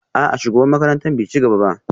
A'a shugaban makarantar bai ci gaba ba